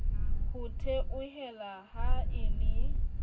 ho theohela ha e le